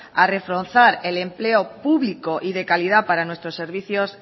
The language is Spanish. a reforzar el empleo público y de calidad para nuestros servicios